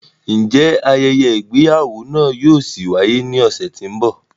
Njẹ ayẹyẹ igbeyawo náà yóò ṣi waye ni ọsẹ ti n bọ?